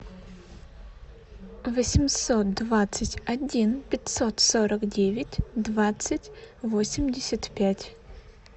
восемьсот двадцать один пятьсот сорок девять двадцать восемьдесят пять